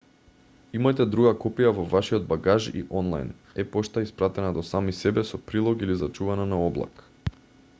имајте друга копија во вашиот багаж и онлајн е-пошта испратена до сами себе со прилог или зачувана на облак